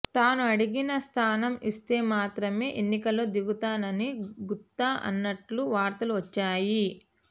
తాను అడిగిన స్థానం ఇస్తే మాత్రమే ఎన్నికల్లో దిగుతానని గుత్తా అన్నట్లు వార్తలు వచ్చాయి